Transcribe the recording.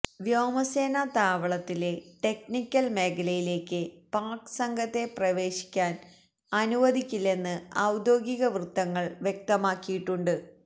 വ്യോമസേനാ താവളത്തിലെ ടെക്നിക്കല് മേഖലയിലേക്ക് പാക് സംഘത്തെ പ്രവേശിക്കാന് അനുവദിക്കില്ലെന്ന് ഔദ്യോഗികവൃത്തങ്ങള് വ്യക്തമാക്കിയിട്ടുണ്ട്